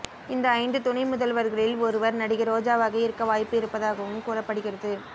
இந்த ஐந்து துணை முதல்வர்களில் ஒருவர் நடிகை ரோஜாவாக இருக்க வாய்ப்பு இருப்பதாகவும் கூறப்படுகிறது